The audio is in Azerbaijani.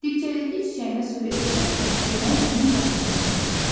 Dibçəkdəki çiçəyinə su verirsənsə, demək onun qayğısını çəkirsən.